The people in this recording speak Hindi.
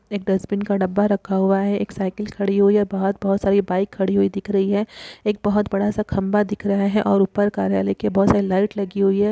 एक डस्ट्बिन का डब्बा रखा हुआ है एक साइकल खड़ी हुई है बहोत बहोत सारी बाइक खड़ी हुई दिख रही है एक बहोत बड़ा सा खंबा दिख रहा है और ऊपर कार्यालय के बहोत सारी लाइट लगी हुई है ।